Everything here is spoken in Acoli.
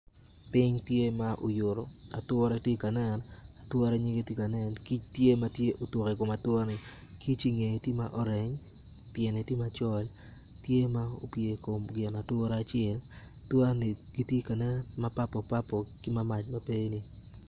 Ping tye ma oyuto ature tye ka nen ature nyige tye ka nen, kic tye ma otuk i kom ature ni kicci ngeye tye ma orange piere tye macol tye ma opyer i kom gin ature acel atura ni matye ka nen ma purple purple ki mamac mapeni.